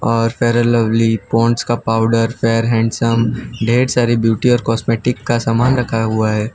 और fair lovely Pond's का powder fair handsome ढेर सारी ब्यूटी और कॉस्मेटिक का सामान रखा हुआ है।